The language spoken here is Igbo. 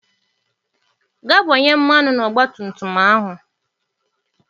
Gaa gbanye mmanụ na ọgba tum tum ahụ!